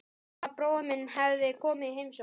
Sagði að bróðir minn hefði komið í heimsókn.